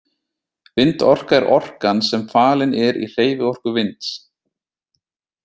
Vindorka er orkan sem falin er í hreyfiorku vinds.